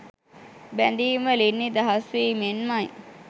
බැඳීම් වලින් නිදහස් වීමෙන්මයි